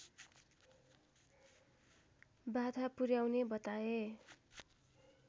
बाधा पुर्‍याउने बताए